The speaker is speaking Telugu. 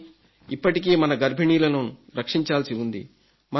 కానీ ఇప్పటికీ మన గర్భిణీలను రక్షించాల్సి ఉంది